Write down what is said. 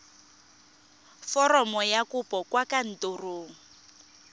foromo ya kopo kwa kantorong